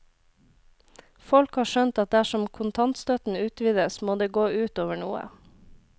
Folk har skjønt at dersom kontantstøtten utvides, må det gå ut over noe.